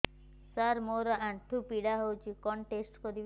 ସାର ମୋର ଆଣ୍ଠୁ ପୀଡା ହଉଚି କଣ ଟେଷ୍ଟ କରିବି